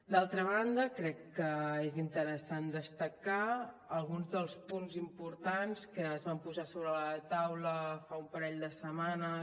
d’altra banda crec que és interessant destacar alguns dels punts importants que es van posar sobre la taula fa un parell de setmanes